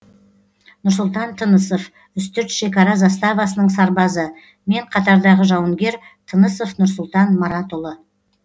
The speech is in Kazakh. нұрсұлтан тынысов үстірт шекара заставасының сарбазы мен қатардағы жауынгер тынысов нұрсұлтан маратұлы